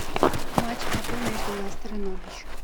матч апл между лестер и норвич